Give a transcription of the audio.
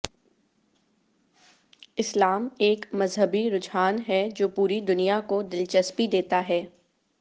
اسلام ایک مذہبی رجحان ہے جو پوری دنیا کو دلچسپی دیتا ہے